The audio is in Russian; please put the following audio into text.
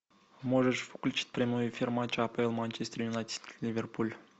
можешь включить прямой эфир матча апл манчестер юнайтед ливерпуль